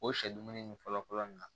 O sɛ dumuni ni fɔlɔ fɔlɔ nana